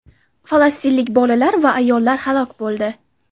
falastinlik bolalar va ayollar halok bo‘ldi.